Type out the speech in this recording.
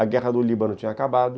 A Guerra do Líbano tinha acabado.